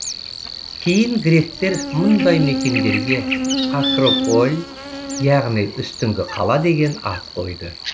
кейін гректер мұндай мекендерге акрополь яғни үстіңгі қала деген ат қойды